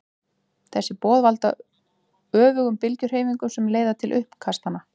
Þessi boð valda öfugum bylgjuhreyfingunum sem leiða til uppkastanna.